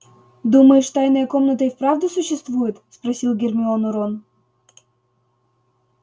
думаешь тайная комната и вправду существует спросил гермиону рон